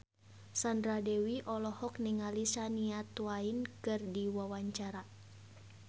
Sandra Dewi olohok ningali Shania Twain keur diwawancara